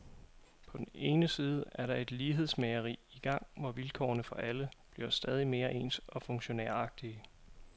På den ene side er der et lighedsmageri i gang, hvor vilkårene for alle bliver stadig mere ens og funktionæragtige.